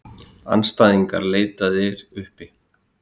Andstæðingar leitaðir uppi